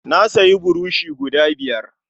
Na sayi burushi guda biyar.